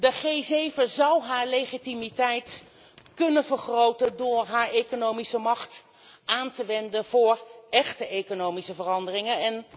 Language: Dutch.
De G7 zal haar legitimiteit kunnen vergroten door haar economische macht aan te wenden voor echte economische veranderingen.